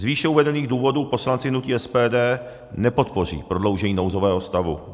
Z výše uvedených důvodů poslanci hnutí SPD nepodpoří prodloužení nouzového stavu.